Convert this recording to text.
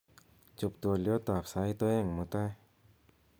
chob twolyot ab sait oeng mutai